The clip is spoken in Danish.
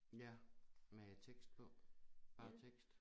Ja med tekst på bare med tekst